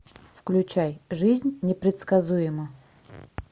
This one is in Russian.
включай жизнь непредсказуема